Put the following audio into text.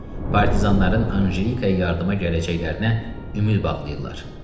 Partizanların Anjelikaya yardıma gələcəklərinə ümid bağlıyırlar.